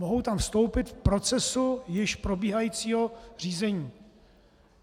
Mohou tam vstoupit v procesu již probíhajícího řízení.